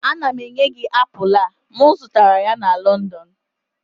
Ana m enye gị apụl a, m zụtara ya na London